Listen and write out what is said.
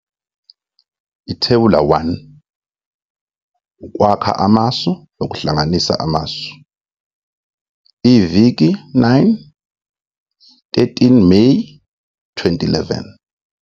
IThebula 1- Ukwakha Amasu Nokuhlanganisa Amasu- Iviki 9 13 Meyi 2011